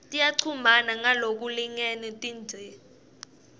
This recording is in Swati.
tiyachumana ngalokulingene tindze